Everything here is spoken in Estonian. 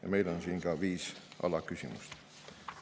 Ja meil on siin ka viis alaküsimust.